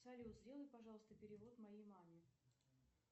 салют сделай пожалуйста перевод моей маме